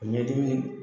O ɲɛdimi